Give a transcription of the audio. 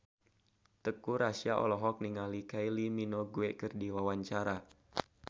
Teuku Rassya olohok ningali Kylie Minogue keur diwawancara